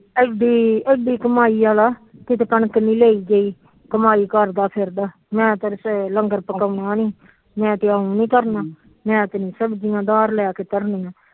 ਐਡੀ ਐਡੀ ਕਮਾਈ ਆਲਾ ਕਿਤੇ ਕਣਕ ਨੀ ਲਈ ਗਈ ਕਮਾਈ ਕਰਦਾ ਫਿਰਦਾ ਮੈ ਤੇ ਲੰਗਰ ਪਕਾਉਣਆ ਨੀ ਮੈ ਤੇ ਮੈ ਤੇ ਸਬਜੀਆਂ